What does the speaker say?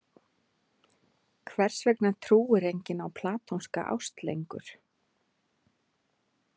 Hvers vegna trúir enginn á platónska ást lengur?